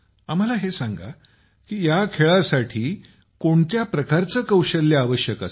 आम्हाला हे सांगा कि या खेळासाठी कोणत्या प्रकारचे कौशल्य आवश्यक असत